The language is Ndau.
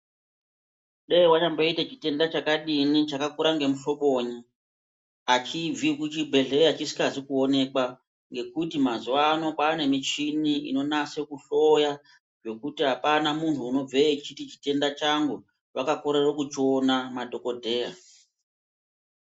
Dai wanyamboite chitenda chakadini, chakakura ngemuhlobonyi, achibvi kuchibhedhleya chisikazi kuonekwa ,ngekuti mazuwa ano kwaane michini inonase kuhloya, zvekuti apana munhu unobveyo echiti,,"Chitenda changu, vakakorere kuchiona madhokodheya."